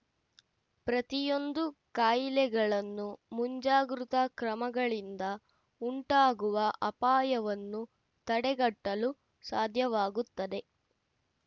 ಪ್ರತಿಯೊಂದು ಕಾಯಿಲೆಗಳನ್ನು ಮುಂಜಾಗೃತಾ ಕ್ರಮಗಳಿಂದ ಉಂಟಾಗುವ ಅಪಾಯವನ್ನು ತಡೆಗಟ್ಟಲು ಸಾಧ್ಯವಾಗುತ್ತದೆ